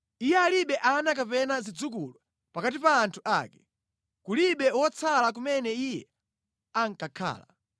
Iye alibe ana kapena zidzukulu pakati pa anthu ake, kulibe wotsala kumene iye ankakhala.